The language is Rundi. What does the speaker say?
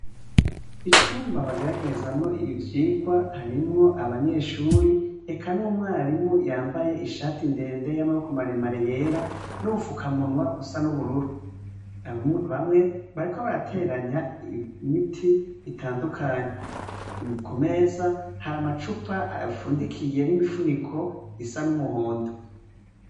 Icumba bageragerezamw' ivyigwa harimw' abanyeshure, eka n' umwarimu yambay' ishati ndende y' amaboko maremare yera n' ubufukamunwa busa n' ubururu, bamwe, bariko baraterany' imit' itandukanye, kumeza har' amacup' afundikiye nimifunik' isa n' umuhondo.